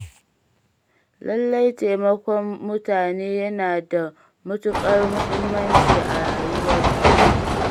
Lalle taimakon mutane yana da matuƙar muhimmanci a rayuwar duniya.